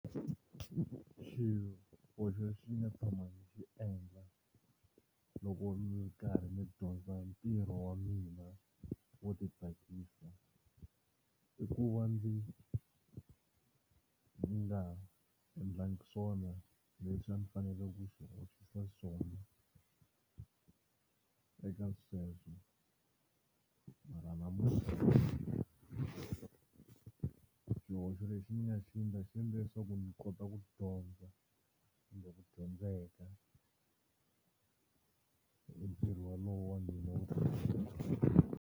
Xihoxo lexi ni nga tshama ni xi endla loko ndzi karhi ndzi dyondza ntirho wa mina wo titsakisa i ku va ndzi ndzi nga endlangi swona leswi a ni fanekele ku swi endlisa xiswona eka sweswo mara namuntlha xihoxo lexi ni nga xi endla xi endle leswaku ndzi kota ku dyondza kumbe ku dyondzeka hi ntirho wolowo wa mina .